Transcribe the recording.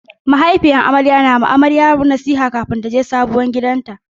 Mahaifiyar amaryar na wa amaryar nasiha kafin taje sabon gidanta.